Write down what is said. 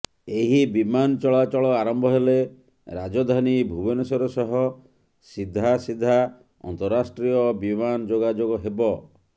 ଏହି ବିମାନ ଚଳାଚଳ ଆରମ୍ଭ ହେଲେ ରାଜଧାନୀ ଭୁବନେଶ୍ୱର ସହ ସିଧାସିଧା ଅନ୍ତରାଷ୍ଟ୍ରୀୟ ବିମାନ ଯୋଗାଯୋଗ ହେବ